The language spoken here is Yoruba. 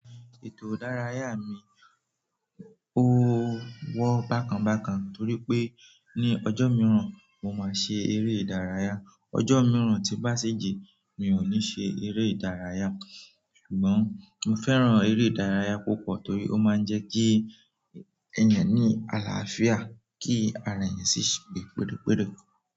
Ètò ìdárayá mi, ó wọ́ bákan bákan torí pé ní ọjọ́ mìíràn mo máa ṣe eré ìdárayá. Ọjọ́ mìíràn tí bá ṣi ji mi ò ní ṣe eré ìdárayá. Ṣùgbọ́n mo fẹ́ràn eré ìdárayá púpọ̀ torí ó máa ń jẹ́ kí ẹ̀yàn ní àlàáfíà, kí ara èeyàn sì ṣe gbé péré péré.